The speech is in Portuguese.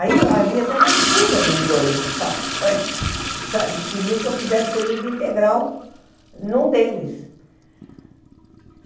Aí havia até uma disputa entre os dois patrões, sabe, que queriam que eu fizesse período integral em um deles.